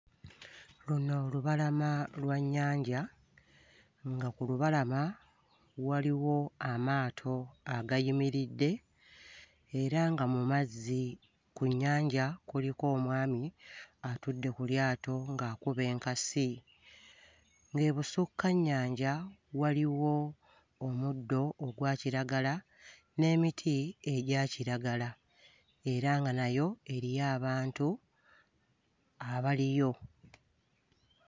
Luno lubalama lwa nnyanja, nga ku lubalama waliwo amaato agayimiridde era nga mu mazzi ku nnyanja kuliko omwami atudde ku lyato ng'akuba enkasi, ng'ebusukka nnyanja waliwo omuddo ogwa kiragala n'emiti egya kiragala era nga nayo eriyo abantu abaliyo.